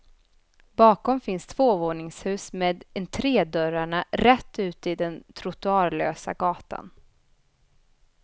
Bakom finns tvåvåningshus med entredörrarna rätt ut i den trottoarlösa gatan.